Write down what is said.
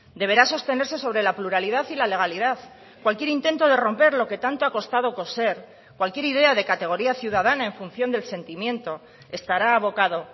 deberá sostenerse sobre la pluralidad y la legalidad cualquier intento de romper lo que tanto ha costado coser cualquier idea de categoría ciudadana en función del sentimiento estará abocado